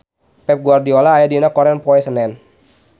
Pep Guardiola aya dina koran poe Senen